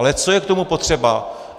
Ale co je k tomu potřeba?